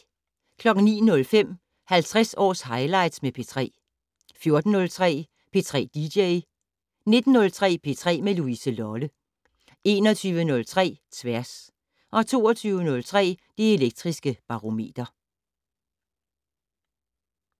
09:05: 50 års highlights med P3 14:03: P3 dj 19:03: P3 med Louise Lolle 21:03: Tværs 22:03: Det Elektriske Barometer